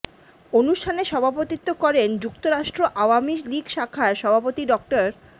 অনুষ্ঠানে সভাপতিত্ব করেন যুক্তরাষ্ট্র আওয়ামী লীগ শাখার সভাপতি ড